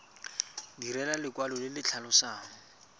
direlwa lekwalo le le tlhalosang